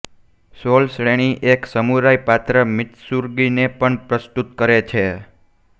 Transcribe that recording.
સોલ શ્રેણી એક સમુરાઇ પાત્ર મીત્સુરુગીને પણ પ્રસ્તુત કરે છે